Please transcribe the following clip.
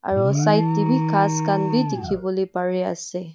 aro side taebi ghas khan bi dikhiwolae parease.